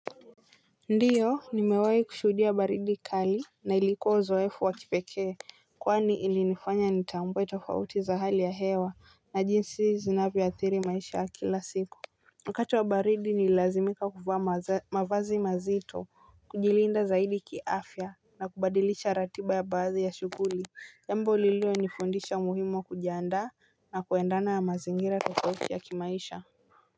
Ndiyo nimewahi kushuhudia baridi kali na ilikuwa uzoefu wa kipekee kwani ilinifanya nitambue tofauti za hali ya hewa na jinsi zinavyo athiri maisha ya kila siku wakati wa baridi nililazimika kuvaa mavazi mazito kujilinda zaidi kiafya na kubadilisha ratiba ya baadhi ya shuguli jambo lilio nifundisha umuhimu wa kujiandaa na kuendana na mazingira tofauti ya kimaisha.